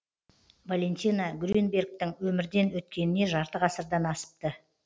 валентина грюнбергтің өмірден өткеніне жарты ғасырдан асыпты